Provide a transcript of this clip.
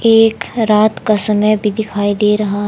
एक रात का समय भी दिखाई दे रहा--